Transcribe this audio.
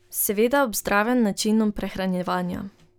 Seveda ob zdravem načinu prehranjevanja.